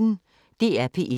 DR P1